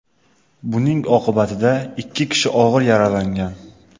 Buning oqibatida ikki kishi og‘ir yaralangan.